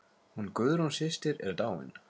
Hún Guðrún systir er dáin.